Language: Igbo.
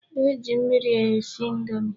E ji mmiri esi indomi.